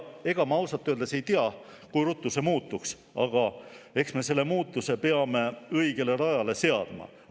Ega ma ausalt öeldes ei tea, kui ruttu see muutus toimuks, aga selle asja me peame õigele rajale seadma.